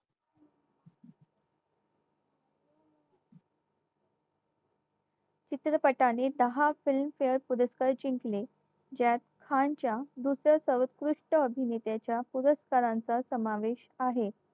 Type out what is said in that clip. चित्रपटाने दहा film fare पुरस्कार जिंकले ज्यात खानच्या दुसऱ्या सर्वकृष्ट अभिनेत्याच्या पुरस्कारांचा समावेश आहे